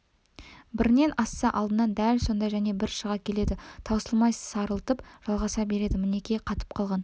бірінен асса алдынан дәл сондай және бірі шыға келеді таусылмай сарылтып жалғаса береді мінекей қатып қалған